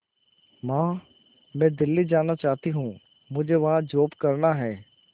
मां मैं दिल्ली जाना चाहते हूँ मुझे वहां जॉब करना है